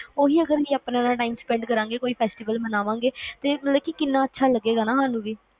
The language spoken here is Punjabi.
ਉਹੀ ਅਗਰ ਅਸੀਂ ਆਪਣਿਆ ਨਾਲ ਕੋਈ festival ਮਨਾਵਾਂਗੇ ਤੇ ਮਤਲਬ ਕਿੰਨਾ ਅੱਛਾ ਲੱਗੇਗਾ